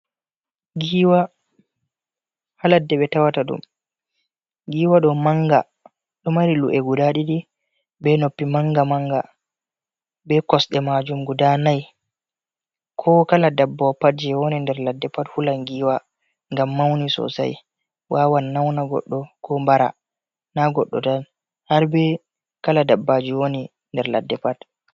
Giwa ha ladde ɓe awata ɗum, giwa ɗo manga ɗo mari lu’e guda ɗiɗi, be noppi manga manga, be kosde majum guda nai, ko kala dabbawo pat je woni nder ladde pat hulan giwa gam mauni sosai wawan nauna goɗɗo ko mbara na goɗɗo tan har be kala dabbaji woni nder ladde pat.